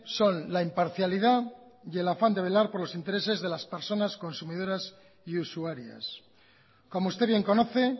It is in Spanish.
son la imparcialidad y el afán de velar por los intereses de las personas consumidoras y usuarias como usted bien conoce